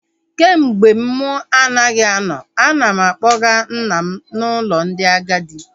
Kemgbe mụ anaghị anọ, ana m akpọga nna m n'ụlọ ndị agadi